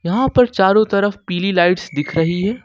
यहां पर चारों तरफ पीली लाइट्स दिख रही है।